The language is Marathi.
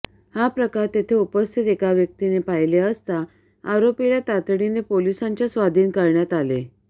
हा प्रकार तेथे उपस्थित एका व्यक्तीने पाहिले असता आरोपीला तातडीने पोलिसांच्या स्वाधीन करण्यात आले